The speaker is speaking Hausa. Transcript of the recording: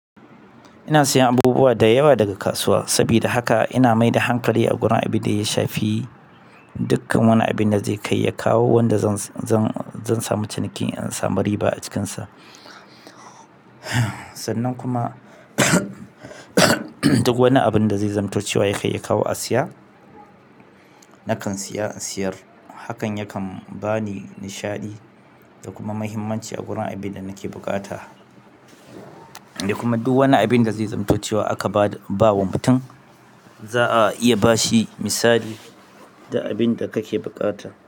Ina siyan abubuwa da yawa daga kasuwa sabida haka ina mai da hankali a gurin abin da ya shafi dukkan wani abin da zai kai ya kawo wanda zan zan zan samu ciniki in samu riba a cikinsa. Sannan kuma duk wani abin da zai zamto cewa ya kai ya kawo a siya nakan siya in siyar. Hakan yakan bani nishaɗi da kuma mahimmanci a gurin abin da nake buƙata. Da kuma duk wani abin da zai zamto waye aka ba wa mutum. Za'a iya bashi misali duk abin da kake buƙata.